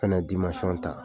Kana ta.